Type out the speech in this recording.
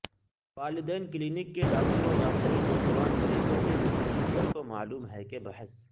والدین کلینک کے ڈاکٹروں واقعی نوجوان مریضوں کے نقطہ نظر کو معلوم ہے کہ بحث